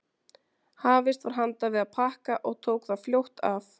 Hafist var handa við að pakka og tók það fljótt af.